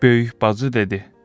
Böyük bacı dedi: